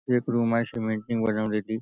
एक रुम आहे सिमेंट ने बनवलेली.